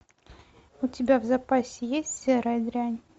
у тебя в запасе есть серая дрянь